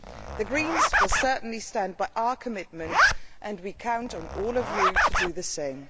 The Greens will certainly stand by our commitment, and we count on all of you to do the same.